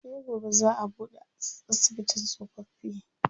Sai gobe zaa a buɗe asibitin tsofaffi.